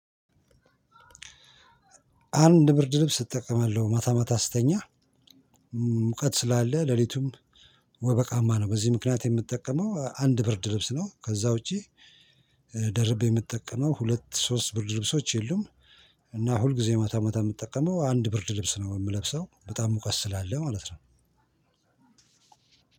አንድ ብርድ ልብስ እጠቀማለሁ ማታ ማታ ስተኛ። ሙቀት ስላለ ሌሊቱም ወበቃማ ነው፤ በዚህ ምክንያት የምጠቀመው አንድ ብርድ ልብስ ነው። ከዛ ውጪ ደርቤ የምጠቀመው ሁለት ሶስት ብርድ ልብሶች የሉም። እና ሁልጊዜ ማታ ማታ የምጠቀመው አንድ ብርድ ልብስ ነው የምለብሰው በጣም ሙቀት ስላለ ማለት ነው።